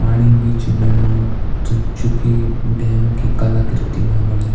पाणी भी च बेणु त जु की डैम की कलाकृति मा बण्यु --